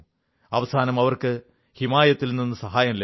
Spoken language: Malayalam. അവസാനം അവർക്ക് ഹിമായത്തിൽ നിന്ന് സഹായം ലഭിച്ചു